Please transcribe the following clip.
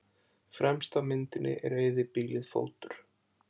Fremst á myndinni er eyðibýlið Fótur.